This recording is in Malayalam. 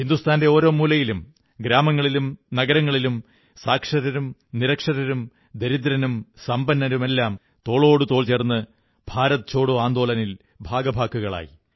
ഹിന്ദുസ്ഥാന്റെ ഓരോ മൂലയിലും ഗ്രാമങ്ങളിലും നഗരങ്ങളിലും സാക്ഷരരും നിരക്ഷരരും ദരിദ്രനും സമ്പന്നനുമെല്ലാം തോളോടുതോൾ ചേർന്ന് ഭാരത് ഛോഡോ ആന്ദോളനിൽ ഭാഗഭാക്കുകളായി